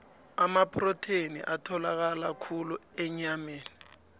amaprotheni atholakala khulu enyameni